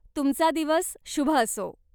तुमचा दिवस शुभ असो!